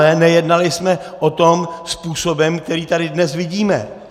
Ale nejednali jsme o tom způsobem, který tady dnes vidíme.